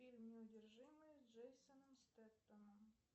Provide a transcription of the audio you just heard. фильм неудержимые с джейсоном стетхемом